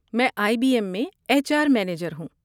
میں I B M میں H R manager ہوں۔